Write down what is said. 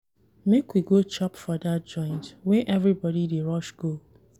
Make we go chop for dat joint wey everybodi dey rush go.